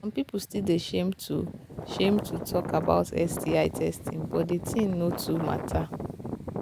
some people still they shame to shame to talk about sti testing but the thing no too matter